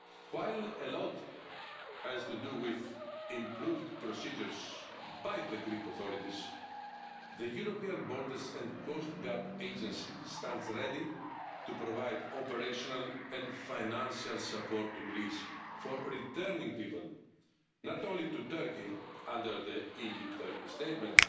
alone. While a lot has to do with improved procedures by the Greek authorities, the European Borders and Coastguard Agency stands ready to provide operational and financial support to Greece for returning people not only to Turkey under the EU Turkey statement,